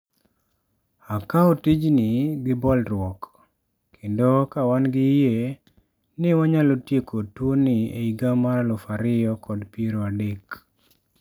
Akawo tijni gi bolruok, kendo ka wan gi yie ni wanyalo tieko tuoni e higa mar 2030.